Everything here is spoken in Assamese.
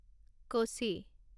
কচি